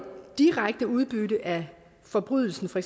direkte udbytte af forbrydelsen for